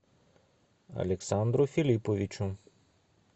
александру филипповичу